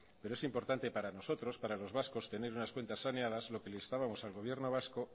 pero es importante para nosotros para los vascos tener unas cuentas saneadas lo que le instábamos al gobierno vasco